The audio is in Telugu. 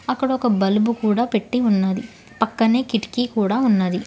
అక్కడ ఒక బలుబు కూడా పెట్టి ఉన్నది పక్కనే కిటికీ కూడా ఉన్నది.